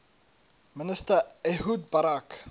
minister ehud barak